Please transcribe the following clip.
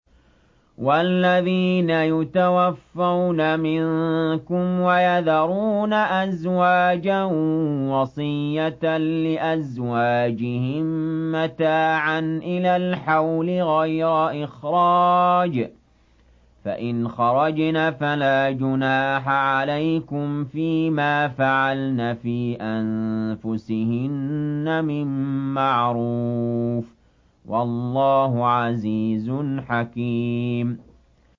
وَالَّذِينَ يُتَوَفَّوْنَ مِنكُمْ وَيَذَرُونَ أَزْوَاجًا وَصِيَّةً لِّأَزْوَاجِهِم مَّتَاعًا إِلَى الْحَوْلِ غَيْرَ إِخْرَاجٍ ۚ فَإِنْ خَرَجْنَ فَلَا جُنَاحَ عَلَيْكُمْ فِي مَا فَعَلْنَ فِي أَنفُسِهِنَّ مِن مَّعْرُوفٍ ۗ وَاللَّهُ عَزِيزٌ حَكِيمٌ